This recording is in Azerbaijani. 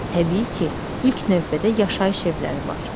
Təbii ki, ilk növbədə yaşayış evləri var.